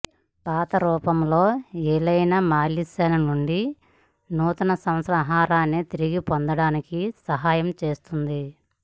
పాత రూపంలో Elena Malysheva నుండి నూతన సంవత్సర ఆహారాన్ని తిరిగి పొందటానికి సహాయం చేస్తుంది